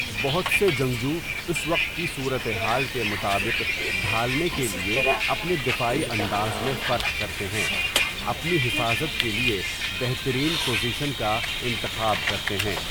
بہت سے جنگجو اس وقت کی صورت حال کے مطابق ڈھالنے کے لیے اپنے دفاعی انداز میں فرق کرتے ہیں، اپنی حفاظت کے لیے بہترین پوزیشن کا انتخاب کرتے ہیں۔